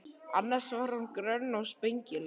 Annars var hún grönn og spengileg.